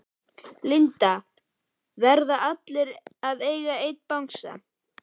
Linda: Verða allir að eiga einn bangsa?